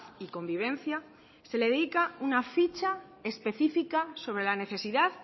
y convivencia se le dedica una ficha específica sobre la necesidad